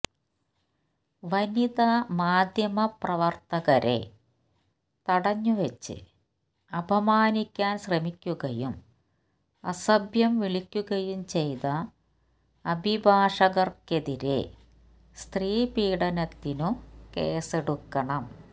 വനിതാ മാദ്ധ്യമ പ്രവർത്തകരെ തടഞ്ഞുവച്ച് അപമാനിക്കാൻ ശ്രമിക്കുകയും അസഭ്യം വിളിക്കുകയും ചെയ്ത അഭിഭാഷകർക്കെതിരെ സ്ത്രീപീഡനത്തിനു കേസ്സെടുക്കണം